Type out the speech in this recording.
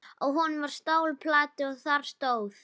Á honum var stálplata og þar stóð: